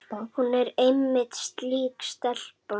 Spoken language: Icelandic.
Hún er einmitt slík stelpa.